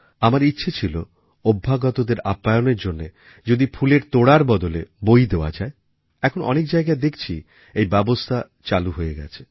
আমার ইচ্ছা ছিল অভ্যাগতদের আপ্যায়ণের জন্য যদি ফুলের তোড়ার বদলে বই দেওয়া যায় এখন অনেক জায়গায় দেখছি এই ব্যবস্থা চালু হয়ে গেছে